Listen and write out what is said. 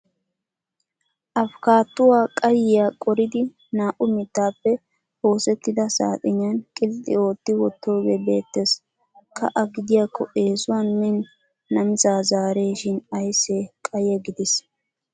Afkaattuwa qayyiya qoridi naa"u mittaappe oosettida saaxiniyan qilxxi ootti wottoogee beettes. Ka"a gidiyakko eesuwan min namisaa zaaresishin ayissee qayye gidis!.